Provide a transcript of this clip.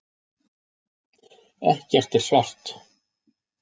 Ekkert er svart.